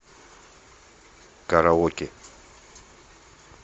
караоке